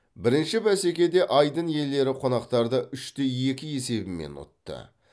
бірінші бәсекеде айдын иелері қонақтарды үш те екі есебімен ұтты